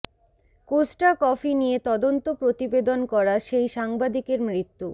Costa Coffee নিয়ে তদন্ত প্রতিবেদন করা সেই সাংবাদিকের মৃত্যু